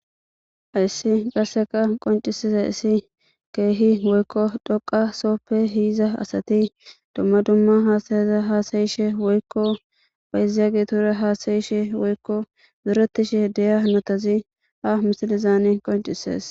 Haysi qaseka qonc'isizaysi kehi woykon dhoqa sope yizaiza asati duma duma asayata hasayishe woykon bayizagetura hasayishe woykon zoretishe de'iya hanotazi ha misilezan qonc'ises.